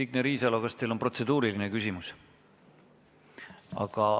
Signe Riisalo, kas teil on protseduuriline küsimus?